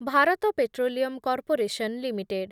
Bharat petroleum corporation limited